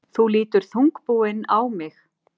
Þú lítur þungbúinn á mig.